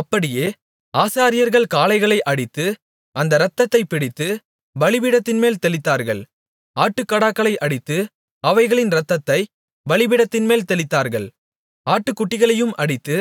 அப்படியே ஆசாரியர்கள் காளைகளை அடித்து அந்த இரத்தத்தைப் பிடித்து பலிபீடத்தின்மேல் தெளித்தார்கள் ஆட்டுக்கடாக்களை அடித்து அவைகளின் இரத்தத்தைப் பலிபீடத்தின்மேல் தெளித்தார்கள் ஆட்டுக்குட்டிகளையும் அடித்து